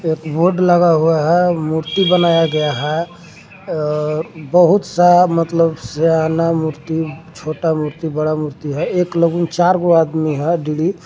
एक बोर्ड लगा हुआ है मूर्ति बनाया गया है अअ बहुत सा मतलब सयाना मूर्ति छोटा मूर्ति बड़ा मूर्ति है एक लोगो नहीं चार गो आदमी है।